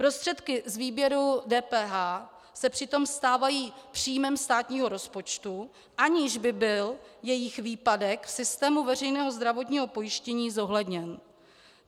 Prostředky z výběru DPH se přitom stávají příjmem státního rozpočtu, aniž by byl jejich výpadek v systému veřejného zdravotního pojištění zohledněn.